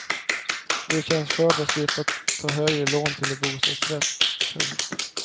Det känns skönt att slippa ta höga lån till en bostadsrätt. punkt